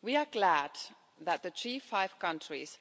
We are glad that the G5 countries